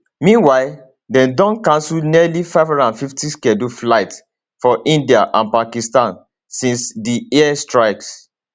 meanwhile dem don cancel nearly 550 scheduled flights for india and pakistan since di air strikes